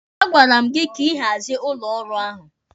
A gwara m gị ka ị hazie ụlọ ọrụ ahụ!